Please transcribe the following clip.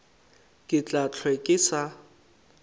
ke tla hlwe ke sa